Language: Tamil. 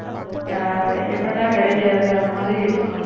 ஆஹ் எப்படா கிடைக்காது அந்த மாதிரி இருப்பாங்க